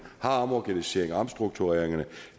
har omorganiseringerne og omstruktureringerne